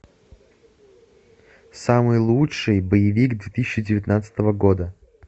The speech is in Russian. самый лучший боевик две тысячи девятнадцатого года